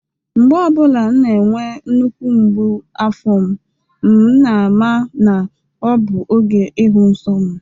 Mgbe ọ bụla na-enwe nnukwu mgbu afọ m na-ama na ọ bụ oge ihu nsọ m